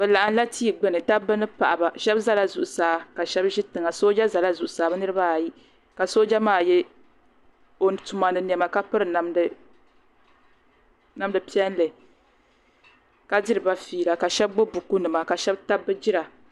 Bi laɣim la tia gbini dabba ni paɣiba shɛba zala zuɣusaa ka shɛba zo tiŋa sooja zala zuɣusaa bi niriba ayi ka sooja maa yiɛ o tuma ni nɛma ka piri namda piɛlli ka diri ba feela ka shɛba gbubi buku nima ka shɛba tabi bi jira .